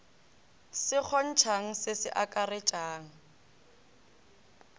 se kgontšhang se se akaretšang